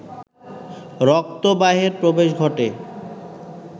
রক্তবাহের প্রবেশ ঘটে